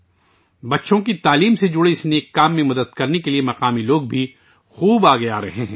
بچوں کی تعلیم سے متعلق اس نیک کام میں مدد کے لیے مقامی لوگ بھی آگے آرہے ہیں